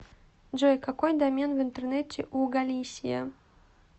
джой какой домен в интернете у галисия